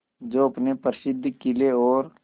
जो अपने प्रसिद्ध किले और